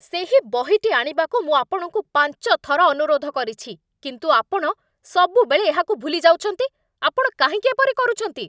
ସେହି ବହିଟି ଆଣିବାକୁ ମୁଁ ଆପଣଙ୍କୁ ପାଞ୍ଚ ଥର ଅନୁରୋଧ କରିଛି, କିନ୍ତୁ ଆପଣ ସବୁବେଳେ ଏହାକୁ ଭୁଲି ଯାଉଛନ୍ତି, ଆପଣ କାହିଁକି ଏପରି କରୁଛନ୍ତି?